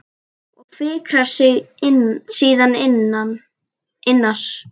Og fikrar sig síðan innar?